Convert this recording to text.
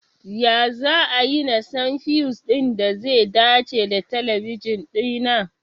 Ya za'ayi na san fiyus ɗin da ze dace da talabijin ɗina?